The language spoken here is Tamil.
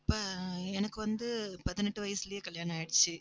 அப்ப எனக்கு வந்து பதினெட்டு வயசுலயே கல்யாணம் ஆயிடுச்சு